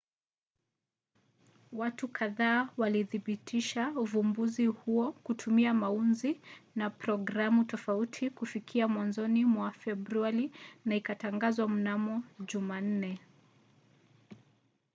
watu kadhaa walithibitisha uvumbuzi huo kutumia maunzi na programu tofauti kufikia mwanzoni mwa februari na ikatangazwa mnamo jumanne